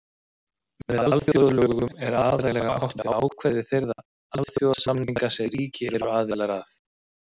Með alþjóðalögum er aðallega átt við ákvæði þeirra alþjóðasamninga sem ríki eru aðilar að.